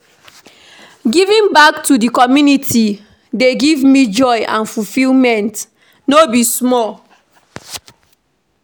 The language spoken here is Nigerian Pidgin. Giving back to di community dey give me joy and fulfillment, no be small.